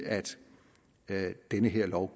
at den her lov